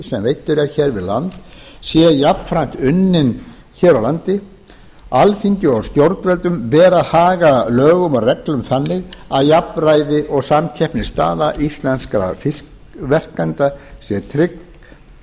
sem veiddur er hér við land sé jafnframt unninn hér á landi alþingi og stjórnvöldum ber að haga lögum og reglum þannig að jafnræði og samkeppnisstaða íslenskra fiskverkenda sé trygg